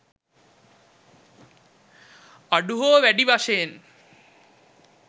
අඩු හෝ වැඩි වශයෙන්